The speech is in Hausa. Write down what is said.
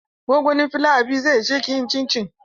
Gongonin flawa biyu zai ishe ki yin cincin?